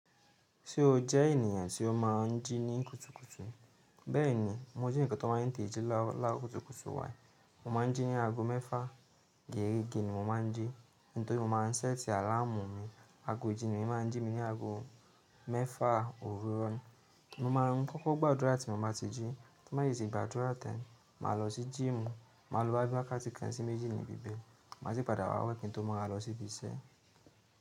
Ṣé o jẹ́ ènìyàn tí ó máa ń jí ní kùtùkùtù? Bẹ́ẹ̀ni, ení kan tó máa ń tetẹ́ji láro kùtùkùtù wáá. Mo máa ń jí ní aago mẹ́fà geerege ni mo máa ń jí. Nítorí mo máa ń ṣẹ́ti àláàmu mi. Aagojì ni máa ń jí mi ní aago mẹ́fà òwúrọ̀. Mo máa ń kọ́kọ́ gbàdúrà tí mo bá ti jí, tí n bá sì gbadúrà tán, màá lọ sí gym, màá lo boyá bí i wakáti kán sí méjì níbi bẹ̀. Má sì padà wá wẹ́ kìì n tí ó ma wa lọ síbi iṣẹ́.